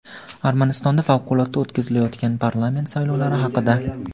Armanistonda favqulodda o‘tkazilayotgan parlament saylovlari haqida.